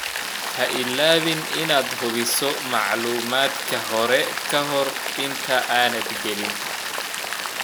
Ha iloobin inaad hubiso macluumaadka hore ka hor inta aanad gelin.